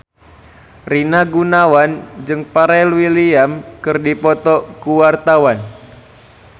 Rina Gunawan jeung Pharrell Williams keur dipoto ku wartawan